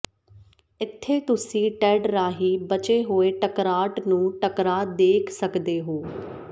ਇੱਥੇ ਤੁਸੀਂ ਟੈੱਡ ਰਾਹੀਂ ਬਚੇ ਹੋਏ ਟਕਰਾਟ ਨੂੰ ਟਕਰਾਅ ਦੇਖ ਸਕਦੇ ਹੋ